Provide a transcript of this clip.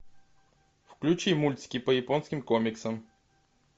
включи мультики по японским комиксам